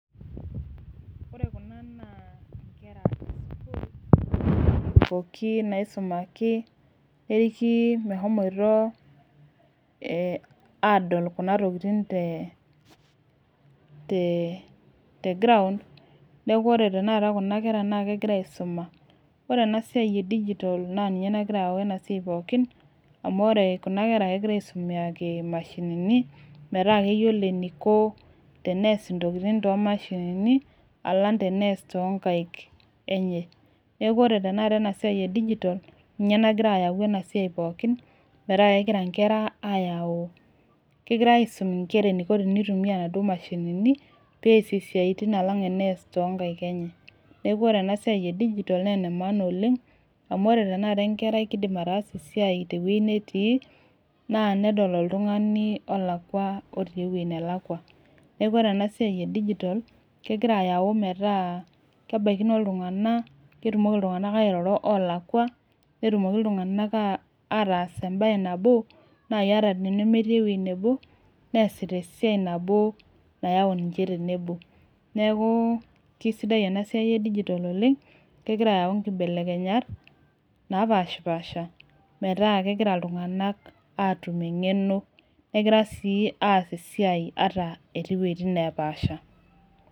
Ore Kuna naa nkera esukuul pookin naisumaki, neriki meshomoito aadol Kuna tokitin te ground neeku ore tenakata Kuna kera naa kegira aisuma. ore ena siai e digital naa ninye nagira ayau ena siai pookin. amu ore Kuna kera .kegira aisomeaki mashinini. metaa keyiolo eniko, tenees intokitin too mashinini. alang tenees too nkaik enye. neeku ore tenakata ena siai e digital ninye nagira ayau ena siai pookin. metaa kegira nkera aayau, kegirae aisum nkera eneiko teneitumia inaduoo mashinini. peesie siatin alang' enees too nkaik enye. neeku ore ena siai e digital naa ene maana oleng. amu ore tenakata enkerai kidim ataasa esiai te wueji netii. naa nedoli oltungani olakua otii ewueji nelakua. neeku ore ena siai e digital kegira ayau metaa, kebaikino iltunganak. ketumoki iltunganak airoro olakua. netumoki iltunganak ataas ebae nabo. naaji ata tenemetii ewueji nebo. neesita esiai nabo nayau ninche tenebo. neeku kisidai ena siai e digital oleng kegira ayau nkibelekenyat. napashipaasha. metaa kegira iltunganak aatum engeno. negira sii aas esiai ata etii wuejitin nepashipaasha.